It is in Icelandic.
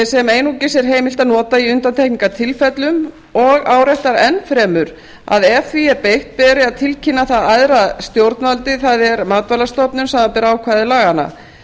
sem einungis er heimilt að nota í undantekningatilfellum og áréttar enn fremur að ef því er beitt beri að tilkynna það æðra stjórnvaldi það er matvælastofnun samanber ákvæði laganna